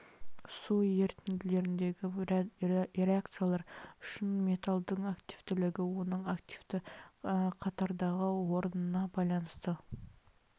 су ерітінділеріндегі реакциялар үшін металдың активтілігі оның активті қатардағы орнына байланысты